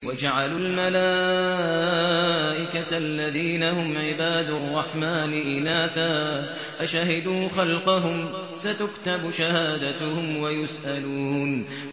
وَجَعَلُوا الْمَلَائِكَةَ الَّذِينَ هُمْ عِبَادُ الرَّحْمَٰنِ إِنَاثًا ۚ أَشَهِدُوا خَلْقَهُمْ ۚ سَتُكْتَبُ شَهَادَتُهُمْ وَيُسْأَلُونَ